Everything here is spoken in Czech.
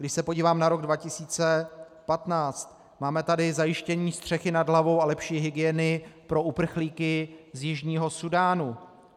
Když se podívám na rok 2015, máme tady zajištění střechy nad hlavou a lepší hygieny pro uprchlíky z Jižního Súdánu.